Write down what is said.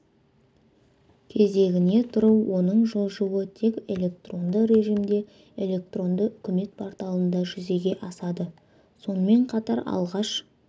кезегіне тұру оның жылжуы тек электронды режимде электронды үкімет порталында жүзеге асады сонымен қатар алғаш